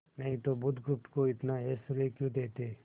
नहीं तो बुधगुप्त को इतना ऐश्वर्य क्यों देते